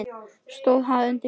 Stóð það undir sér?